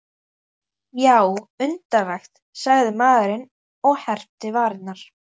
Já, undarlegt, sagði maðurinn og herpti varirnar.